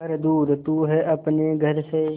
पर दूर तू है अपने घर से